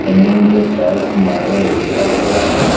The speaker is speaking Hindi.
जमीन पे टाइल्स मार्बल बिछा हुआ है।